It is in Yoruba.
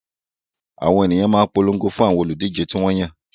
Àwọn ènìyàn ló máa ń polongo fún àwọn olùdíje tí wọ́n yàn